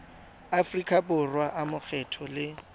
aforika borwa a makgetho le